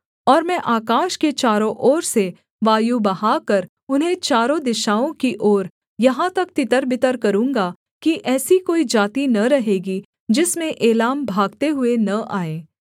और मैं आकाश के चारों ओर से वायु बहाकर उन्हें चारों दिशाओं की ओर यहाँ तक तितरबितर करूँगा कि ऐसी कोई जाति न रहेगी जिसमें एलाम भागते हुए न आएँ